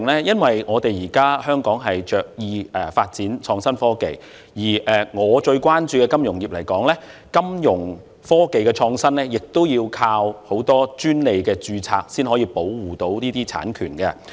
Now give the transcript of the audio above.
因為香港現在着意發展創新科技，以我最關注的金融業來說，金融科技的創新需要靠很多專利註冊來保護這些產權。